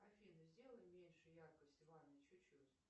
афина сделай меньше яркость в ванной чуть чуть